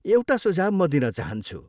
एउटा सुझाउ म दिन चाहन्छु।